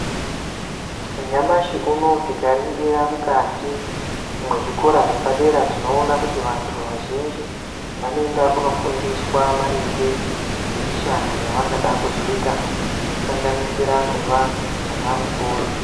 Nyamashi unou tikaringira mukati mwezvikora zvepadera tinoona kuti vantu vazhinji vanoenda kunofundiswa maringe ngemishando yavangada kuzoita inosanganisira kuva ana mukoti.